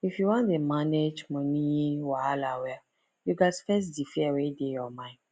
if you wan dey manage money wahala well you gats face di fear wey dey your mind